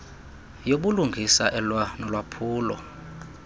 yobulungisa elwa nolwaphulo